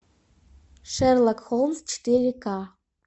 шерлок холмс четыре ка